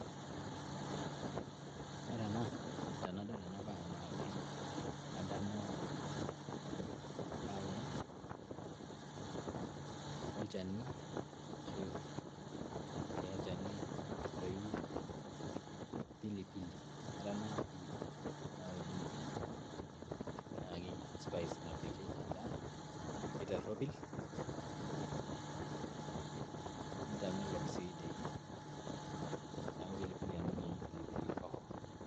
ore ena tenadol ena bae naa kadamu ebae olchani leyu pilipili, naa ore ena naa pilipili naa kepiki edaa tiropil sii.